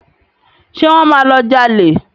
Ṣé wọ́n máa lọ jalè?